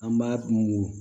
An b'a mugu